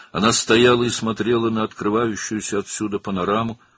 O, durub buradan açılan panoramaya baxırdı.